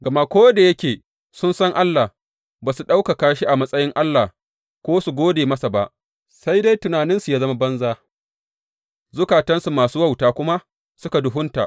Gama ko da yake sun san Allah, ba su ɗaukaka shi a matsayin Allah ko su gode masa ba, sai dai tunaninsu ya zama banza, zukatansu masu wauta kuma suka duhunta.